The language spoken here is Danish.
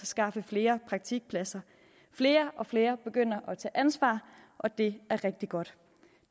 skaffe flere praktikpladser flere og flere begynder at tage ansvar og det er rigtig godt